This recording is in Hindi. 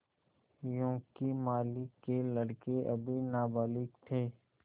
योंकि मालिक के लड़के अभी नाबालिग थे